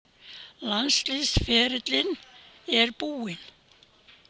Landsliðsferillinn er búinn.